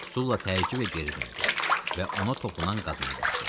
Sulla təəccüblə geri döndü və ona toxunan qadına baxdı.